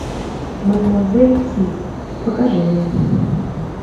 мадемуазель си покажи мне